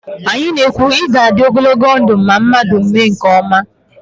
Anyị na- ekwu, 'ị ga-adị ogologo ndụ' ma mmadụ mee nke ọma